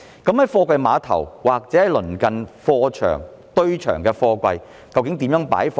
在貨櫃碼頭或鄰近貨場、堆場的貨櫃，究竟如何擺放？